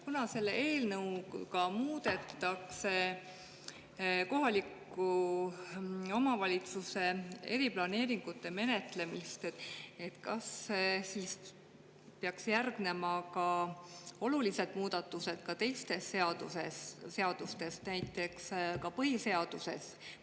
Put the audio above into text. Kuna selle eelnõuga muudetakse kohaliku omavalitsuse eriplaneeringute menetlemist, kas siis peaks järgnema olulised muudatused ka teistes seadustes, näiteks ka põhiseaduses?